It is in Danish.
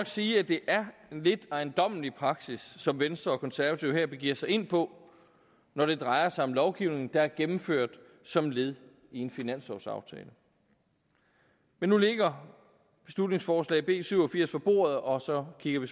sige at det er en lidt ejendommelig praksis som venstre og konservative her begiver sig ind på når det drejer sig om lovgivning der er gennemført som led i en finanslovsaftale men nu ligger beslutningsforslag nummer b syv og firs på bordet og så kigger vi